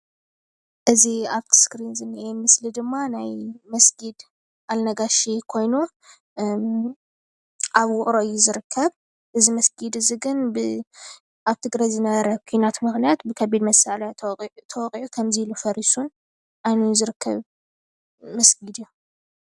እዚ አብቲ እስከሪን ዝንሄ ምስሊ ድማ ናይ መስግድ አልነጋሽ ኮይኑ አብ ውቕሮ እዩ ዝርከብ እዚ መስጊድ እዚ ግን ብአብ ትግራይ ዝነበረ ኩናት ምክንያት ብከቢድ መሳርሒ ተወቒዑ ከምዚ ኢሉ ፈሪሱን ዓንዩን ዝርከብ መስግድ እዩ፡፡